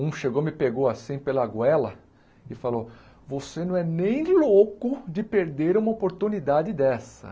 Um chegou, me pegou assim pela goela e falou, você não é nem louco de perder uma oportunidade dessa.